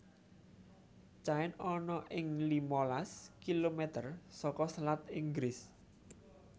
Caen ana ing limalas kilometer saka selat Inggris